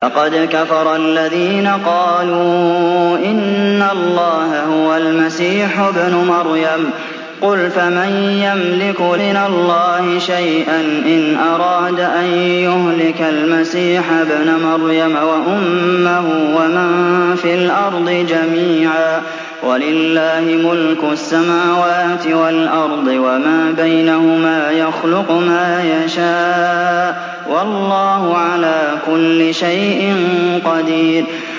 لَّقَدْ كَفَرَ الَّذِينَ قَالُوا إِنَّ اللَّهَ هُوَ الْمَسِيحُ ابْنُ مَرْيَمَ ۚ قُلْ فَمَن يَمْلِكُ مِنَ اللَّهِ شَيْئًا إِنْ أَرَادَ أَن يُهْلِكَ الْمَسِيحَ ابْنَ مَرْيَمَ وَأُمَّهُ وَمَن فِي الْأَرْضِ جَمِيعًا ۗ وَلِلَّهِ مُلْكُ السَّمَاوَاتِ وَالْأَرْضِ وَمَا بَيْنَهُمَا ۚ يَخْلُقُ مَا يَشَاءُ ۚ وَاللَّهُ عَلَىٰ كُلِّ شَيْءٍ قَدِيرٌ